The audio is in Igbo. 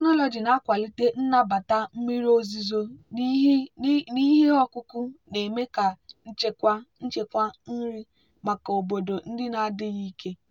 biotechnology na-akwalite nnabata mmiri ozuzo n'ihe ọkụkụ na-eme ka nchekwa nchekwa nri maka obodo ndị na-adịghị ike.